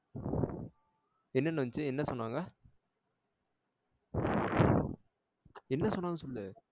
என்னென்னு வந்துச்சி என்ன சொன்னாங்க என்ன சொன்னாங்க சொல்லு